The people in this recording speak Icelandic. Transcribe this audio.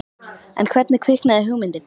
En hvernig kviknaði hugmyndin?